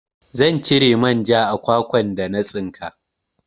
Zan cire manja a kwakwan da na tsinka